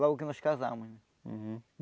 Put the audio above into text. Logo que nós casámos. Uhum